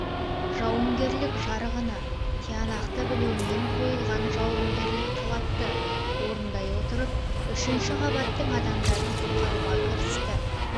жауынгерлік жарғыны тиянақты білумен қойылған жауынгерлік талапты орындай отырып үшінші қабаттың адамдарын құтқаруға кірісті